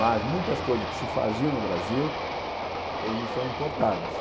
Mas muitas coisas que se faziam no Brasil, hoje são importadas.